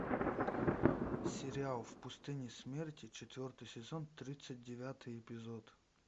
сериал в пустыне смерти четвертый сезон тридцать девятый эпизод